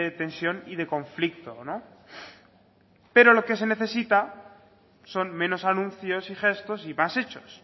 tensión y de conflicto no pero lo que se necesita son menos anuncios y gestos y más hechos